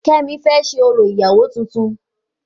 Kemi fẹ ṣé orò ìyàwó tuntun